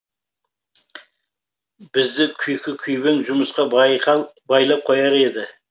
бізді күйкі күйбең жұмысқа байлап қояр еді